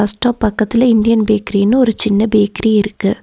Bus stop பக்கத்துல Indian பேக்ரினு ஒரு சின்ன பேக்ரி இருக்கு.